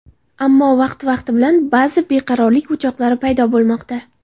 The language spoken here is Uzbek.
ammo vaqti-vaqti bilan ba’zi beqarorlik o‘choqlari paydo bo‘lmoqda.